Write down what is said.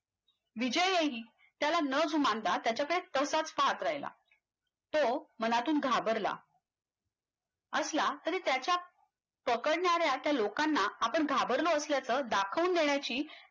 विजयही त्याला न जुमानता त्याच्याकडे तसाच पाहत राहिला तो मनातून घाबरला असला तरी त्याच्या पकडणाऱ्या त्या लोकांना असल्या आपण घाबरलो असल्याच दाखवून देण्याची